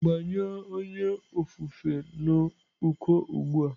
Gbanyụọ onye ofufe n'uko ugbu a!